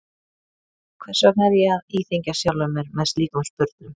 Æ, hvers vegna er ég að íþyngja sjálfum mér með slíkum spurnum?